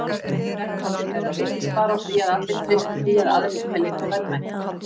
Verðmæti þeirra byggist bara á því að allir treysti því að aðrir telji þá verðmæta.